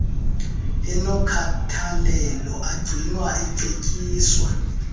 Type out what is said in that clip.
enokhathalelo agcinwa ecetyiswa